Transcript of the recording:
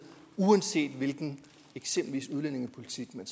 uanset hvilken udlændingepolitik man